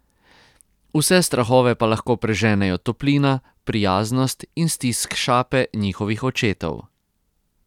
Vse strahove pa lahko preženejo toplina, prijaznost in stisk šape njihovih očetov.